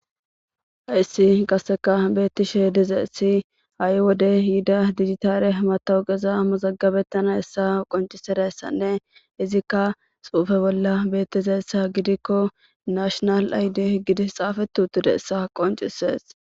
hayssi qasseka beettishe dize essi ha7i wode yida digitaare matawuqeza mazagabettana essa qonciserayssanne izikka suufe bolla beettiza essa gidikko nashonal ayde gidis xaafetutude essa qoncisees